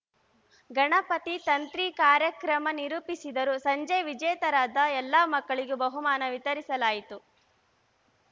ಗಣಪತಿ ತಂತ್ರಿ ಕಾರ್ಯಕ್ರಮ ನಿರೂಪಿಸಿದರು ಸಂಜೆ ವಿಜೇತರಾದ ಎಲ್ಲಾ ಮಕ್ಕಳಿಗೂ ಬಹುಮಾನ ವಿತರಿಸಲಾಯಿತು